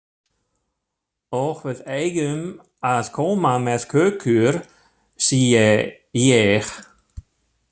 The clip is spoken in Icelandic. Og við eigum að koma með kökur, sé ég.